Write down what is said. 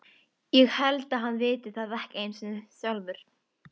Ég held að hann viti það ekki einu sinni sjálfur.